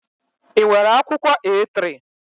Ị nwere akwụkwọ A3?